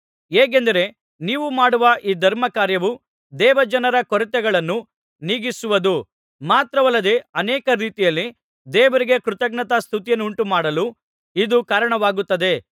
ಹೇಗೆಂದರೆ ನೀವು ಮಾಡುವ ಈ ಧರ್ಮಕಾರ್ಯವು ದೇವಜನರ ಕೊರತೆಗಳನ್ನು ನೀಗಿಸುವುದು ಮಾತ್ರವಲ್ಲದೆ ಅನೇಕ ರೀತಿಯಲ್ಲಿ ದೇವರಿಗೆ ಕೃತಜ್ಞತಾಸ್ತುತಿಯನ್ನುಂಟುಮಾಡಲು ಇದು ಕಾರಣವಾಗುತ್ತದೆ